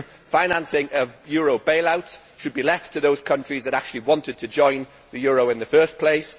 Financing of euro bail outs should be left to those countries that actually wanted to join the euro in the first place.